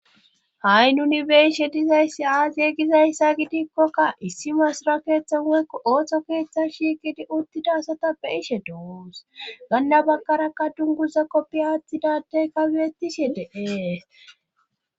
Ha7i nuni beishe dizayssi aaziye gizayssa gidikkokka issi masra keeththa woykko ooththo keeththa shiiqidi uttida asata beishe doos ganna baggarakka dunguza koppi aathtidadey kawiettishe deee